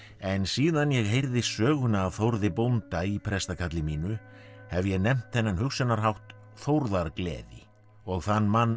en síðan ég heyrði söguna af Þórði bónda í prestakalli mínu hef ég nefnt þennan hugsunarhátt þórðargleði og þann mann